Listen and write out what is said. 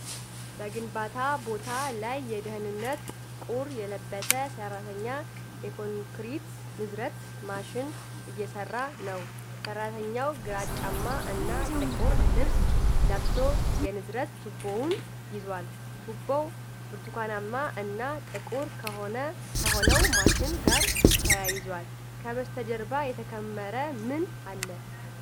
በግንባታ ቦታ ላይ የደህንነት ቁር የለበሰ ሰራተኛ የኮንክሪት ንዝረት ማሽን እየሰራ ነው። ሰራተኛው ግራጫማ እና ጥቁር ልብስ ለብሶ የንዝረት ቱቦውን ይዟል። ቱቦው ብርቱካናማ እና ጥቁር ከሆነው ማሽን ጋር ተያይዟል። ከበስተጀርባ የተከመረ ምን አለ?